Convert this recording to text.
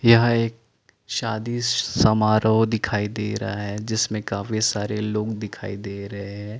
यहाँ एक शादी समारोह दिखाई दे रहा है जिसमे काफी सारे लोग दिखाई दे रहे है।